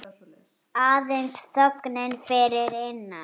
Aðeins þögnin fyrir innan.